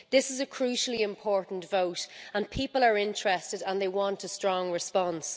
This is a crucially important vote, and people are interested and they want a strong response.